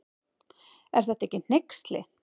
Er þetta ekki hneyksli.